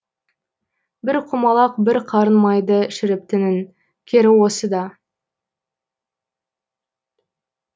бір құмалақ бір қарын майды шірітіптінің кері осы да